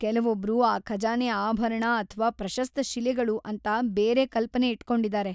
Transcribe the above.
ಕೆಲವೊಬ್ರು ಆ ಖಜಾನೆ ಆಭರಣ ಅಥ್ವಾ ಪ್ರಶಸ್ತ ಶಿಲೆಗಳು ಅಂತ ಬೇರೆ ಕಲ್ಪನೆ ಇಟ್ಕೊಂಡಿದಾರೆ.